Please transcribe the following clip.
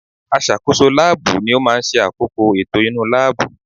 Aṣàkóso láàbù ni ó máa ń ṣe àkóko ètò inú láàbù